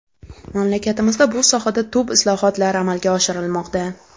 Mamlakatimizda bu sohada tub islohotlar amalga oshirilmoqda.